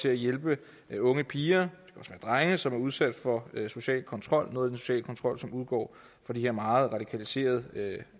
af hjælpen til unge piger og drenge som er udsat for social kontrol noget af den sociale kontrol som udgår fra de her meget radikaliserede